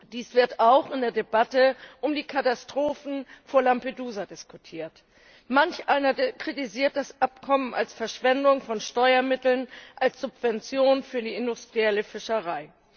Dies wird auch in der Debatte um die Katastrophen vor Lampedusa diskutiert. Manch einer kritisiert das Abkommen als Verschwendung von Steuermitteln, als Subvention für die industrielle Fischerei.